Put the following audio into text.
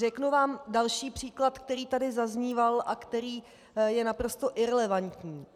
Řeknu vám další příklad, který tady zazníval a který je naprosto irelevantní.